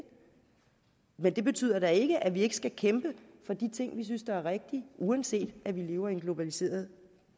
men det betyder da ikke at vi ikke skal kæmpe for de ting vi synes er rigtige uanset at vi lever i en globaliseret